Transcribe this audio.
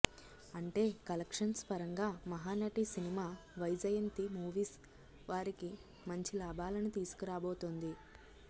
అంటే కలెక్షన్స్ పరంగా Mahanati cinema Vyjayanthi Movies వారికి మంచి లాభాలను తీసుకరాబోతుంది